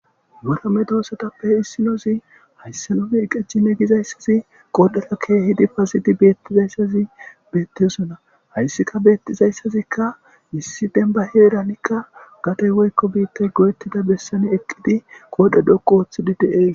motame duossatappe issinozi haysse none iqeccine gizayssazi qoodhata keehidi pazidi beettizayssazi beettesona hayssika beettizayssazikka missi denba heeranikka gatey woykko biittay goyettida bessani eqqidi qoodhe dhoqu ooththidi dee